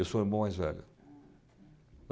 Eu sou o irmão mais velho.